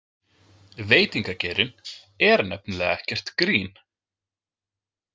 Veitingageirinn er nefnilega ekkert grín.